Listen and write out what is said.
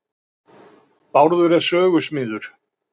Bráður er sögusmiður.